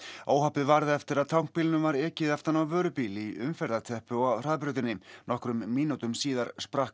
óhappið varð eftir að tankbílnum var ekið aftan á vörubíl í umferðarteppu á hraðbrautinni nokkrum mínútum síðar sprakk